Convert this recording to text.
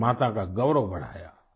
भारत माता का गौरव बढ़ाया